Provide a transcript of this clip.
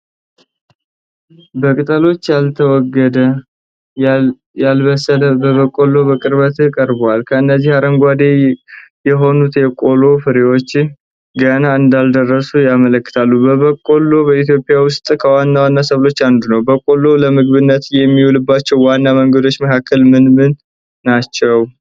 በቅጠሎች ያልተወገደ፣ ያልበሰለ በቆሎ በቅርበት ቀርቧል። እነዚህ አረንጓዴ የሆኑት የቆሎ ፍሬዎች ገና እንዳልደረሱ ያመለክታሉ። በቆሎ በኢትዮጵያ ውስጥ ከዋና ዋና ሰብሎች አንዱ ነው። በቆሎ ለምግብነት ከሚውልባቸው ዋና መንገዶች መካከል ምን ምን ናቸው?